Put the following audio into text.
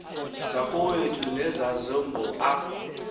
zakowethu nezasembo a